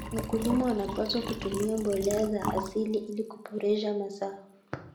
Wakulima wanapaswa kutumia mbolea za asili ili kuboresha mazao.